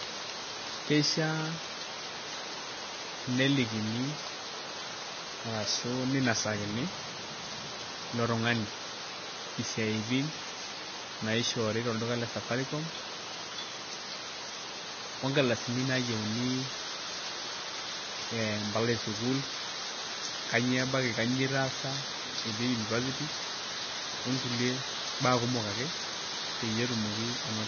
Keishiaa nelikini arashu ninasakini ilo tung'ani isiaitin naishoori tolduka le Safaricom onkaldasini naayieuni ee mpala esukuul kainyioo ebaiki, kainyioo itaasa etii university onkulie baa kumok ake peyie etumoki anoto.